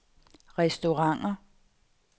restauranter